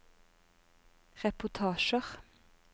reportasjer